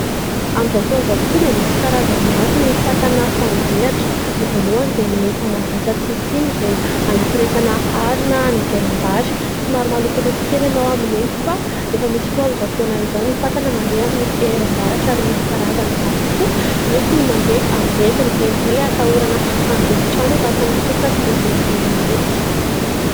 Karazana kojakojam-behivavy amidy eny an-tsena eo amin'ny latabatra hazo mifono lamba mena toy ny kavina, ny rojo, ny peratra sy ny sisa.